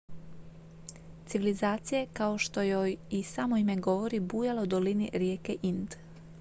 civilizacija je kao što joj i samo ime govori bujala u dolini rijeke ind